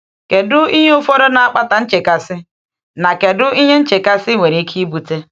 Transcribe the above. Kedu ihe ụfọdụ na-akpata nchekasị, na kedu ihe nchekasị nwere ike ibute?